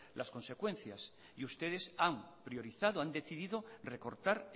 las consecuencias y ustedes han priorizado han decidido recortar